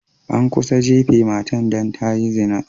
An kusa jafe matan dan ta yi zina.